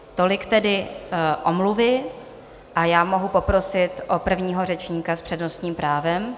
Tolik tedy omluvy a já mohu poprosit o prvního řečníka s přednostním právem.